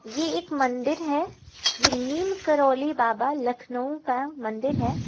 ये एक मंदिर है ये नीम करोली बाबा लखनऊ का मंदिर है।